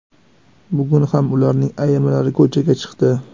Bugun ham ularning ayrimlari ko‘chaga chiqdi.